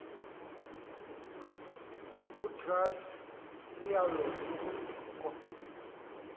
utrath unyauo lubunvoko